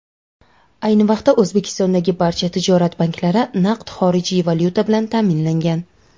Ayni vaqtda O‘zbekistondagi barcha tijorat banklari naqd xorijiy valyuta bilan ta’minlangan.